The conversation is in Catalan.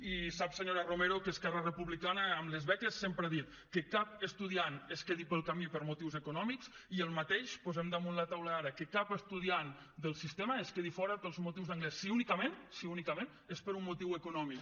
i sap senyora romero que esquerra republicana amb les beques sempre ha dit que cap estudiant es quedi pel camí per motius econòmics i el mateix posem damunt la taula ara que cap estudiant del sistema es quedi fora pels motius d’anglès si únicament si únicament és per un motiu econòmic